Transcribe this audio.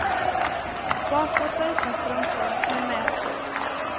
Barfota utan strumpor, men med skor.